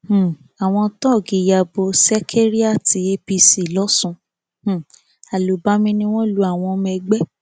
um àwọn tóògì ya bo ṣekérìàti apc lọsun um àlùbami ni wọn lu àwọn ọmọ ẹgbẹ